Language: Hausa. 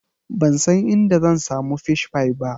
Ban san inda zan samu Fish pie ba.